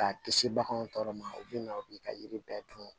K'a kisi baganw tɔɔrɔ ma u bɛ na u b'i ka yiri bɛɛ dun